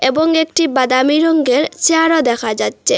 এবং একটি বাদামি রঙের চেয়ারও দেখা যাচ্চে।